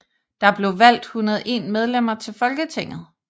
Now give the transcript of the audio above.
Der blev valgt 101 medlemmer til Folketinget